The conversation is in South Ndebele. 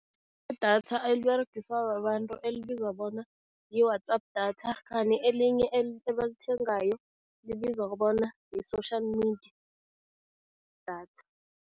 Idatha eliberegiswa babantu elibizwa bona yi-WhatsApp data khani elinye ebalithengayo libizwa bona yi-social media data.